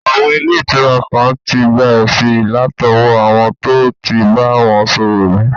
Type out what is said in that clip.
Àwọn ilé ìtura kan tí gba èsì látọwọ́ àwọn tó tí bá wọn ṣòwò rí